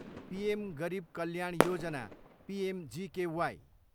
PM Garib Kalyan Yojana, PMGKY